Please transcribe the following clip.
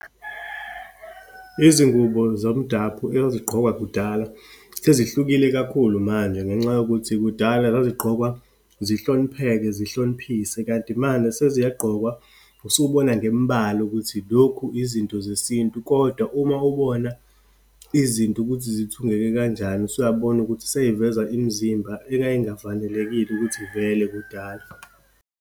Izingubo zomdaphu ezazigqokwa kudala sezihlukile kakhulu manje, ngenxa yokuthi kudala zazigqokwa zihlonipheke, zihloniphise. Kanti manje, seziyagqokwa, usubona ngembala ukuthi lokhu izinto zesintu, kodwa uma ubona izinto ukuthi zithungeke kanjani, usuyabona ukuthi seyiveza imizimba ekayingafanelekile ukuthi ivele, kudala.